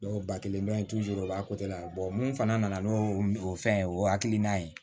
Dɔw ba kelen bɛ u b'a mun fana nana n'o fɛn o hakilina ye